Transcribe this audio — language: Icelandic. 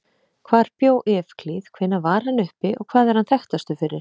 Hvar bjó Evklíð, hvenær var hann uppi og hvað er hann þekktastur fyrir?